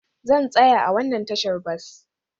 Zan tsaya a wannan tashar bas